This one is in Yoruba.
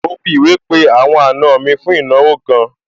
Mo fi ìwé pé àwọn àna mi fún ìnáwó kan